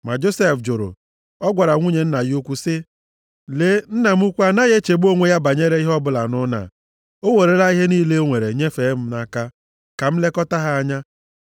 Ma Josef jụrụ. Ọ gwara nwunye nna ya ukwu sị, “Lee, nna m ukwu anaghị echegbu onwe ya banyere ihe ọbụla nʼụlọ a. O werela ihe niile o nwere nyefee m nʼaka ka m lekọta ha anya.